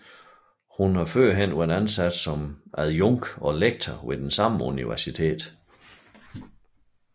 Hun har tidligere været ansat som adjunkt og lektor ved samme universitet